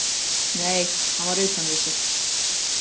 Nei, hann var utan við sig.